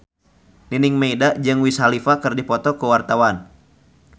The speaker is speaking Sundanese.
Nining Meida jeung Wiz Khalifa keur dipoto ku wartawan